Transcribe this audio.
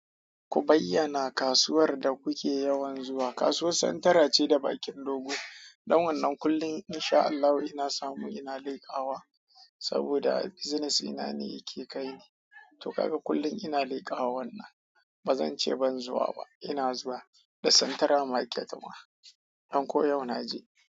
Ku bayyana kasuwar da kuke yawan zuwa. Kasuwar Santara ce da bakin dogo. Don wannan kullum in sha Allahu ina samu ina leƙawa saboda business ina ne yake kai ni. To kaga kullum ina leƙawa wannan. Ba zan ce ban zuwa ba. Ina zuwa da central market ma. Don ko yau na je.